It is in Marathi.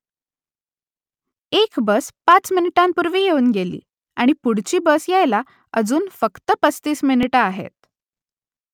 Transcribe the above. एक बस पाच मिनिटांपूर्वी येऊन गेली आणि पुढची बस यायला अजून फक्त पस्तीस मिनिटं आहेत